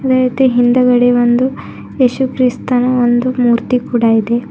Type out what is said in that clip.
ಅದೆ ರೀತಿ ಹಿಂದ್ಗಡೆ ಒಂದು ಯೇಸುಕ್ರಿಸ್ತನ ಒಂದು ಮೂರ್ತಿ ಕೂಡ ಇದೆ.